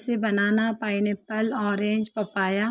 से banana pineapple orange papaya --